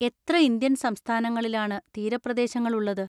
എത്ര ഇന്ത്യൻ സംസ്ഥാനങ്ങളിലാണ് തീരപ്രദേശങ്ങളുളളത്?